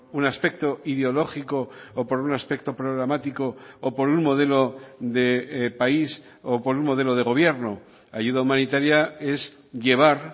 un aspecto ideológico o por un aspecto programático o por un modelo de país o por un modelo de gobierno ayuda humanitaria es llevar